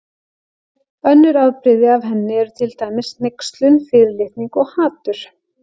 Önnur afbrigði af henni eru til dæmis hneykslun, fyrirlitning og hatur.